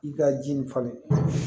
I ka ji nin falen